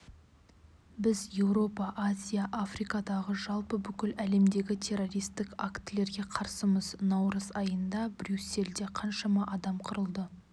біз еуропа азия африкадағы жалпы бүкіл әлемдегі террористік актілерге қарсымыз наурыз айында брюссельде қаншама адам қырылды